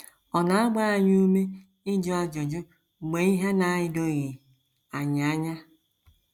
Ọ na - agba anyị ume ịjụ ajụjụ mgbe ihe na - edoghị anyị anya.